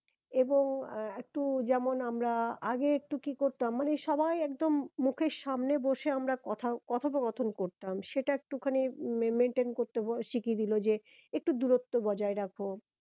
এবং একটু যেমন আমরা আগে একটু কি করতাম মানে সবাই একদম মুখের সামনে বসে আমরা কথা কথ পো কথন করতাম সেটা একটুখানি maintain করতে শিখিয়ে দিলো যে একটু দূরত্ব বজায় রাখো